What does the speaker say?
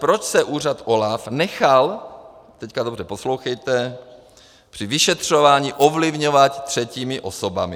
Proč se úřad OLAF nechal - teď dobře poslouchejte - při vyšetřování ovlivňovat třetími osobami?